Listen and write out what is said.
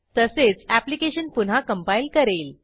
तसेच ऍप्लिकेशन पुन्हा कंपाईल करेल